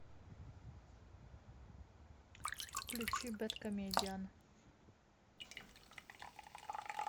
включи бэд комедиан